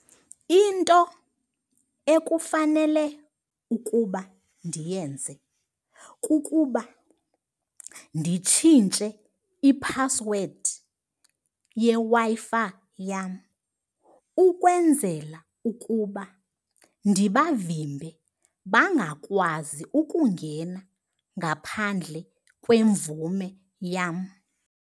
Into ekufanele ukuba ndiyenze kukuba nditshintshe iphasiwedi yeWi-Fi yam ukwenzela ukuba ndibavimbe, bangakwazi ukungena ngaphandle kwemvume yam.